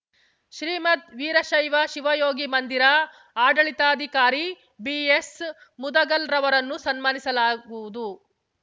ಶ್ರೀಮದ್‌ ವೀರಶೈವ ಶಿವಯೋಗಿ ಮಂದಿರ ಆಡಳಿತಾಧಿಕಾರಿ ಬಿಎಸ್‌ಮುದುಗಲ್‌ರವರನ್ನು ಸನ್ಮಾನಿಸಲಾಗುವುದು